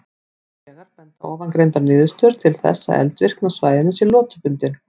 Hins vegar benda ofangreindar niðurstöður til þess að eldvirkni á svæðinu sé lotubundin.